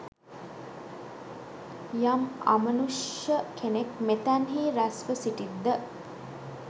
යම් අමනුෂ්‍ය කෙනෙක් මෙතැන්හි රැස්ව සිටිත් ද?